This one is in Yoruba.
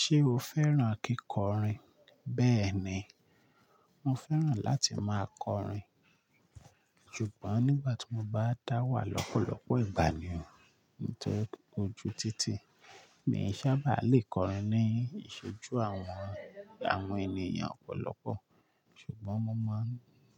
Ṣé o fẹ́ràn kíkọrin? Bẹ́ẹ̀ ni, mo fẹ́ràn láti máa kọrin. Ṣùgbọ́n nígbà tí mo bá dá wà lọ́pọ̀lọpọ̀ ìgbà ni o, nítori oju títí, mi ò sábà lè kọrin ní ìṣojú àwọn, àwọn ènìyàn ọ̀pọ̀lọpọ̀. Ṣùgbọ́n mo máa ń,